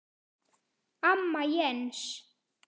Amma Jens.